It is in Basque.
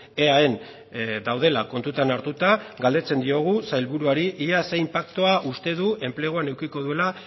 eaen daudela kontutan hartuta galdetzen diogu sailburuari ea zein inpaktu uste du enpleguan eduki duela